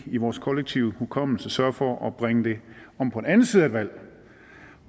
i vores kollektive hukommelse sørger for at bringe det om på den anden side af valget